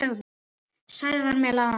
Sagði þar meðal annars